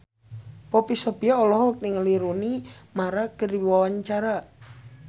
Poppy Sovia olohok ningali Rooney Mara keur diwawancara